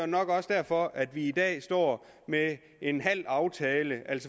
nok også derfor at vi i dag står med en halv aftale